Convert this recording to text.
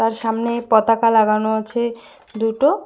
সামনে পতাকা লাগানো আছে দুটো।